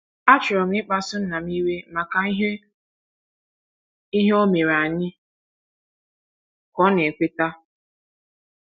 “ Achọrọ m ịkpasu nna m iwe maka ihe o ihe o mere anyị, ” ka ọ na - ekweta.